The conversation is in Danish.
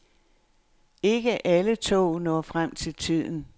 Ikke alle tog når frem til tiden.